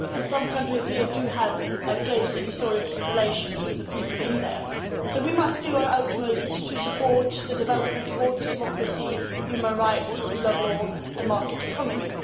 Some countries here have close and historic relations with the people there, so we must do our utmost to support the development towards democracy, human rights, the rule of law and market economy.